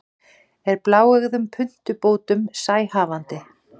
er bláeygðum puntubótum sæhafandi